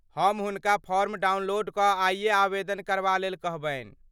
हम हुनका form download कऽ आइये आवेदन करबा लेल कहबनि।